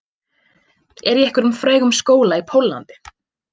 Er í einhverjum frægum skóla í Póllandi